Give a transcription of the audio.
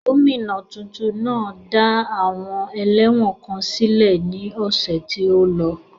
Gomina tuntun náà dá àwọn ẹlẹ́wọ̀n kan sílẹ̀ ní ọ̀sẹ̀ tí ó lọ.